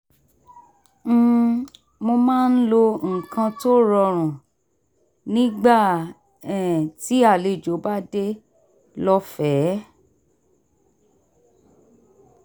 um mo máa ń lo nǹkan tó rọrùn nígbà um tí àlejò bá dé lọ́fẹ̀ẹ́